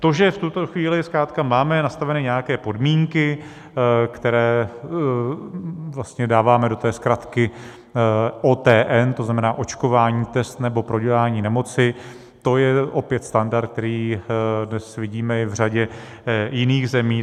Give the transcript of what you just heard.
To, že v tuto chvíli zkrátka máme nastaveny nějaké podmínky, které vlastně dáváme do té zkratky OTN, to znamená očkování, test nebo prodělání nemoci, to je opět standard, který dnes vidíme i v řadě jiných zemí.